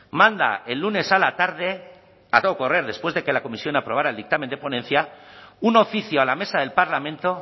manda el lunes a la tarde a todo correr después de que la comisión aprobara el dictamen de ponencia un oficio a la mesa del parlamento